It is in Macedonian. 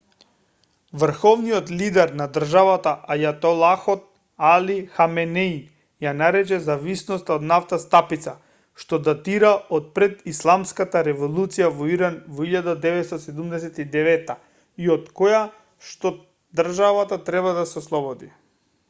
врховниот лидер на државата ајатолахот али хаменеи ја нарече зависноста од нафта стапица што датира од пред исламската револуција во иран во 1979 и од којашто државата треба да се ослободи